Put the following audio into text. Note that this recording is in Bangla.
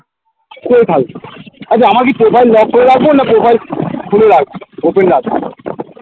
আচ্ছা আমার কি profile lock করে রাখবো না profile খুলে রাখবো open রাখবো